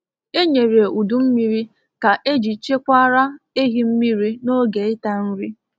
Enyere udu mmiri ka eji chekwara ehi mmiri n'oge ịta nri